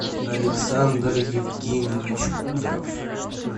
александр евгеньевич кудров